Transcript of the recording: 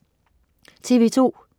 TV2: